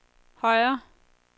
højre